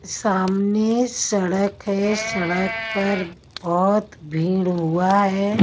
सामने सड़क है सड़क पर बहुत भीड़ हुआ है।